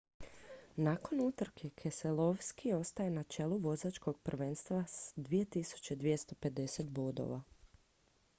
nakon utrke keselowski ostaje na čelu vozačkog prvenstva s 2250 bodova